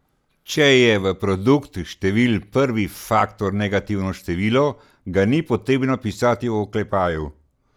Če je v produktu števil prvi faktor negativno število, ga ni potrebno pisati v oklepaju.